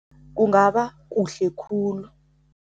Kungaba kuhle khulu.